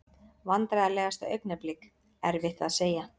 Vandræðalegasta augnablik: Erfitt að segja.